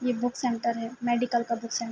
یہ ایک book centre ہے۔ میڈیکل کا بک سینٹر --